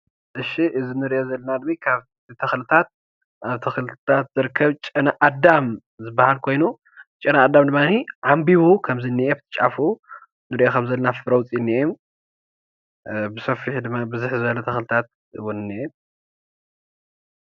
እዚ እንሪኦ ዘለና ተኽልታት ካብ ተኽሊታት ዝርከብ ጨነኣዳም ዝበሃል ኮይኑ ጨነኣዳም ድማ ዓምቢቡ ከም ዝኒሀ ኣብቲ ጫፉ ንሪኦ ከም ዘለና ኣብቲ ጫፉ ፍረ ኣውፅኡ እኒሀ ብሰፊሑ ድማ ብዙሕ ዝበለ ተኽሊታት እኒሀ፡፡